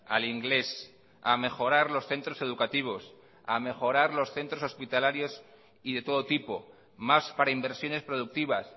al inglés a mejorar los centros educativos a mejorar los centros hospitalarios y de todo tipo más para inversiones productivas